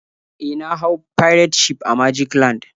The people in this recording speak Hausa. E, na hau pirate ship a magic land.